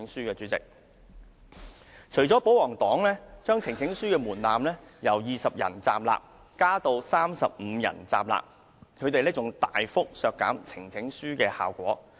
代理主席，保皇黨除了提高呈請書的門檻，由20人站立增至35人站立外，他們還大大削弱呈請書的效果。